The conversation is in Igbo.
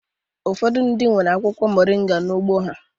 Ụfọdụ ndị nwere akwụkwọ moringa n'ugbo ha